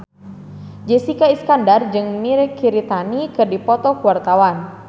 Jessica Iskandar jeung Mirei Kiritani keur dipoto ku wartawan